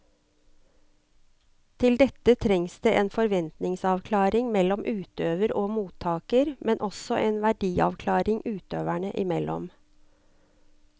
Til dette trengs det en forventningsavklaring mellom utøver og mottaker, men også en verdiavklaring utøverne imellom.